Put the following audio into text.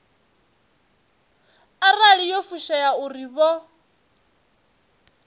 arali yo fushea uri vho